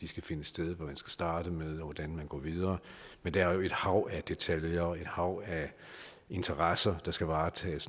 skal finde sted hvad man skal starte med og hvordan man går videre men der er jo et hav af detaljer og et hav af interesser der skal varetages